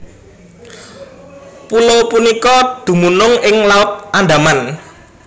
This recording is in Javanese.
Pulo punika dumunung ing Laut Andaman